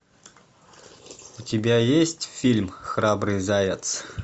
у тебя есть фильм храбрый заяц